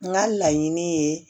N ka laɲiniini ye